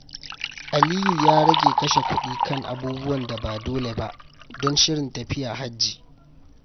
Aliyu ya rage kashe kuɗi kan abubuwan da ba dole ba don shirin tafiya Hajji.